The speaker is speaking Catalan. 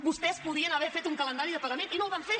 vostès podien haver fet un calendari de pagament i no el van fer